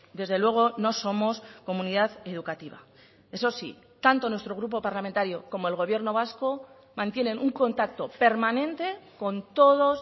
desde luego no somos comunidad educativa eso sí tanto nuestro grupo parlamentario como el gobierno vasco mantienen un contacto permanente con todos